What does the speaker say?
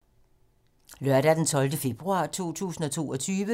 Lørdag d. 12. februar 2022